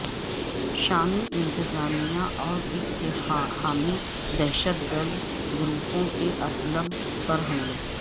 شامی انتظامیہ اور اس کے حامی دہشت گرد گروپوں کے ادلب پر حملے